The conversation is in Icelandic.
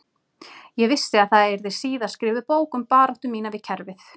Ég vissi að það yrði síðar skrifuð bók um baráttu mína við kerfið